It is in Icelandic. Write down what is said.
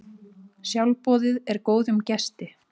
Sjálfboðið er góðum gesti.